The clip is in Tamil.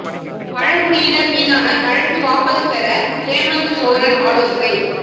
பழங்குடியினர் மீதான வழக்கு வாபஸ் பெற ஹேமந்த் சோரன் ஆலோசனை